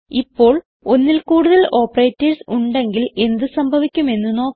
ഇപ്പോൾ ഒന്നിൽ കൂടുതൽ ഓപ്പറേറ്റർസ് ഉണ്ടെങ്കിൽ എന്ത് സംഭവിക്കും എന്ന് നോക്കാം